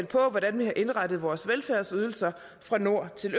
på hvordan vi har indrettet vores velfærdsydelser fra nord til